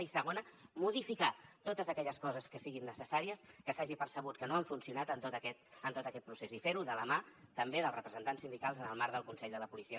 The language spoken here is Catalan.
i segona modificar totes aquelles coses que siguin necessàries que s’hagi percebut que no han funcionat en tot aquest procés i fer ho de la mà també dels representants sindicals en el marc del consell de la policia